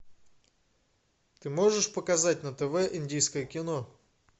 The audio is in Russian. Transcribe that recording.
ты можешь показать на тв индийское кино